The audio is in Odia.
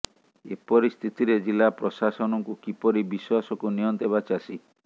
ଏପରି ସ୍ଥିତିରେ ଜିଲ୍ଲା ପ୍ରଶାସନକୁ କିପରି ବିଶ୍ବାସକୁ ନିଅନ୍ତେ ବା ଚାଷୀ